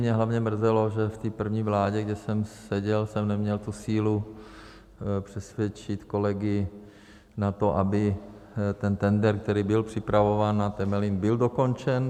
Mě hlavně mrzelo, že v té první vládě, kde jsem seděl, jsem neměl tu sílu přesvědčit kolegy na to, aby ten tendr, který byl připravován na Temelín, byl dokončen.